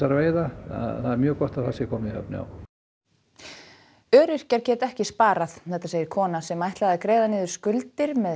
veiða það er mjög gott að það sé komið í höfn öryrkjar geta ekki sparað segir kona sem ætlaði að greiða niður skuldir með